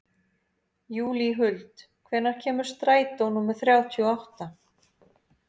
Júlíhuld, hvenær kemur strætó númer þrjátíu og átta?